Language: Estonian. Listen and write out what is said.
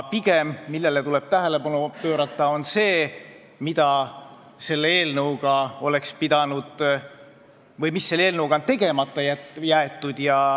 Pigem tuleb tähelepanu pöörata sellele, mida selle eelnõuga oleks veel pidanud tegema, aga mis on tegemata jäetud.